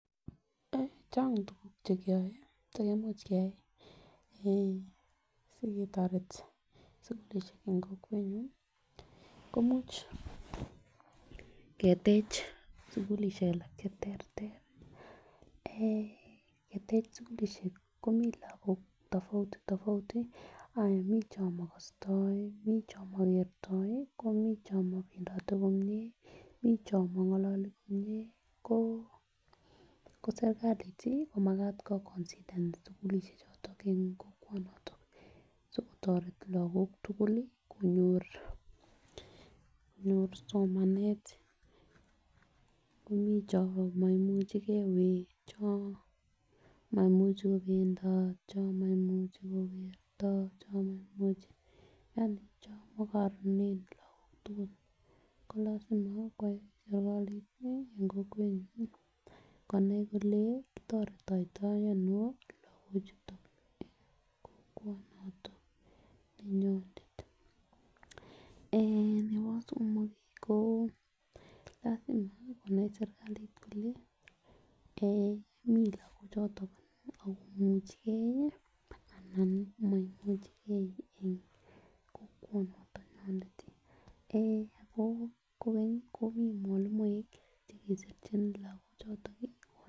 Chang tukuk chekeyoe cheimuch keyai eeh siketoret sukulishek en kokwenyuny komuch ketech sukulishek alak cheterter eeh ketech sukulishek komii lokok tafouti tofauti anan mii chon makostoi, mii chon mokertoi, komii chon mopendotet komie, mii chon mongololi komie ko kosirkalit komakat ko konsidan sukulishek choton en kwokwoniyon sikotoret lokok tukuk lii konyor somanet komii chon moimuchigee wee chon moimuchi kopendat chon moimuchi kokeryo yani chon mokoronen lokok tukuk ko lasima koyai sirkalit tii en kokwenyuny nii konai kole kitoretoito ono lokok chuton en kokwonoton nenyinet. Eh nebo somok ko lasima konai sirkalit kole kii lokok choton ako imuchigee anan moimuchigee en kokwonoton nonitet eeh kokeny komii mwalimuek chekisirchin lokok chuton.